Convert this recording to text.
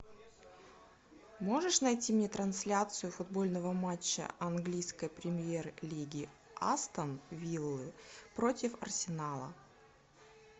можешь найти мне трансляцию футбольного матча английской премьер лиги астон виллы против арсенала